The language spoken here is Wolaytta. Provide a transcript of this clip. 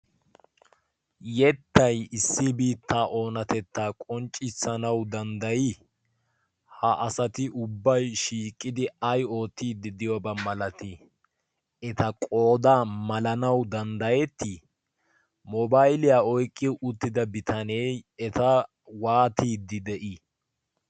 yettay issibii ta oonatettaa qonccissanawu danddayii ha asati ubbay shiiqqidi aiootiiddi deyoobaa malatii eta qoodaa malanawu danddayettii mobailiyaa oyqqiyo uttida bitanee eta waatiiddi de'ii?